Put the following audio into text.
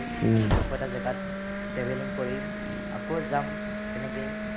আকৌ এটা জেগাত travelling কৰিম, আকৌ যাম তেনেকেই